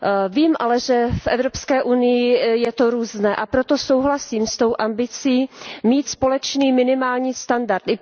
Vím ale, že v Evropské unii je to různé, a proto souhlasím s tou ambicí mít společný minimální standard.